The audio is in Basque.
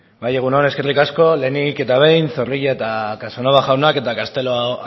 bai egun on eskerrik asko lehenik eta behin zorrilla eta casanova jaunak eta castelo